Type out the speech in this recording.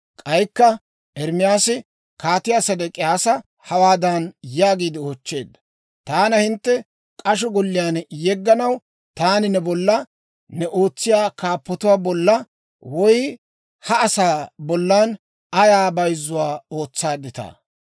K'aykka Ermaasi Kaatiyaa Sedek'iyaasa hawaadan yaagiide oochcheedda; «Taana hintte k'asho golliyaan yegganaw taani ne bollan, new ootsiyaa kaappotuwaa bollan woy ha asaa bollan ayaa bayzzuwaa ootsaadditaa?